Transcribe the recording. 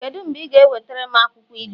kedu mgbe ị ga-ewetara m akwụkwọ ilu?